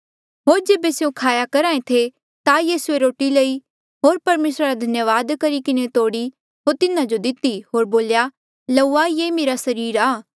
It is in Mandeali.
होर जेबे स्यों खाया करहा ऐें थे ता यीसूए रोटी लई होर परमेसरा रा धन्यावाद करी किन्हें तोड़ी होर तिन्हा जो दिती होर बोल्या लऊआ ये मेरा सरीर आ